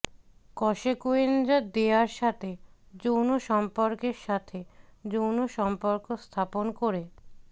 কসেকুয়েঞ্জা দেয়ার সাথে যৌনসম্পর্কের সাথে যৌন সম্পর্ক স্থাপন করে